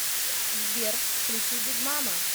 сбер включи биг мама